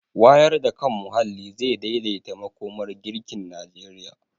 Wayar da kan muhalli zai daidaita makomar girkin Najeriya.